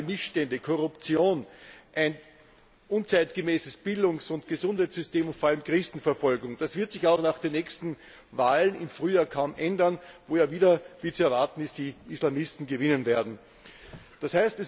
Soziale Missstände, Korruption, ein unzeitgemäßes Bildungs und Gesundheitssystem und vor allem Christenverfolgung, das wird sich auch nach den nächsten Wahlen im Frühjahr kaum ändern, wo ja wieder wie zu erwarten ist die Islamisten gewinnen werden. D.